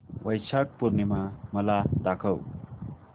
वैशाख पूर्णिमा मला दाखव